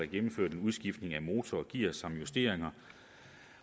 gennemført en udskiftning af motorer og gear samt justeringer